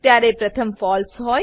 ત્યારે પ્રથમ ફળસે